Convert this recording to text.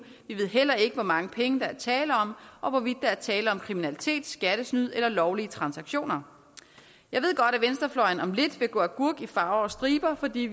vi ved heller ikke hvor mange penge der er tale om og hvorvidt der er tale om kriminalitet skattesnyd eller lovlige transaktioner jeg ved godt at venstrefløjen om lidt vil gå agurk i farver og striber fordi